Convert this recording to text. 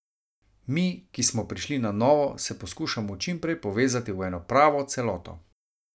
Mi, ki smo prišli na novo, se poskušamo čim prej povezati v eno pravo celoto.